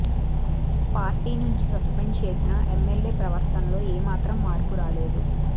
party నుంచి suspend చేసినా MLA ప్రవర్తనలో ఏమాత్రం మార్పు రాలేదు